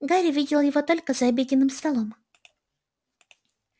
гарри видел его только за обеденным столом